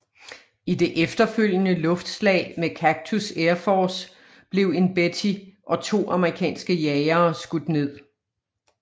I det efterfølgende luftslag med Cactus Air Forve blev en Betty og to amerikanske jagere skudt ned